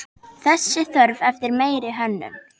Þessi þörf eftir meiri hönnun.